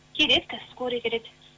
келеді қазір скорый келеді